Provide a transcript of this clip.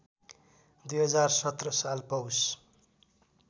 २०१७ साल पौष